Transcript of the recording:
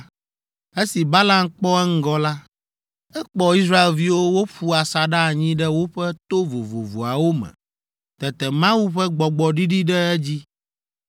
Esi Balaam kpɔ eŋgɔ la, ekpɔ Israelviwo woƒu asaɖa anyi ɖe woƒe to vovovoawo me. Tete Mawu ƒe Gbɔgbɔ ɖiɖi ɖe edzi,